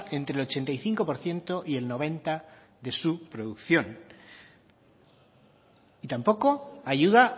entre el ochenta y cinco por ciento y el noventa de su producción y tampoco ayuda